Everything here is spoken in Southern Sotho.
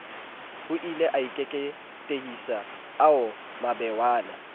hoile a keketehisa ao mabewana